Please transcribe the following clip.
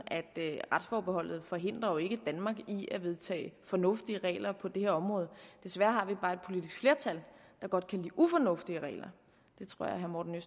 at forbehold ikke forhindrer danmark i at vedtage fornuftige regler på det her område desværre har vi bare et politisk flertal der godt kan lide ufornuftige regler det tror jeg herre morten